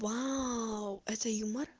вау это юмор